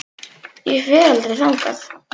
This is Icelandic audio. Ég fer aldrei þangað.